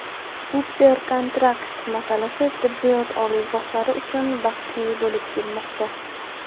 "super-kontrakt" masalasi tibbiyot oliygohlari uchun bahsli bo‘lib kelmoqda.